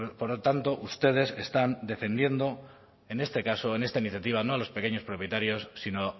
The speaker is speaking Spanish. por lo tanto ustedes están defendiendo en este caso en esta iniciativa no a los pequeños propietarios sino